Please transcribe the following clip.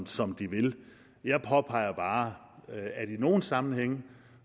som de vil jeg påpeger bare at i nogle sammenhænge